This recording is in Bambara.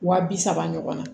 Wa bi saba ɲɔgɔnna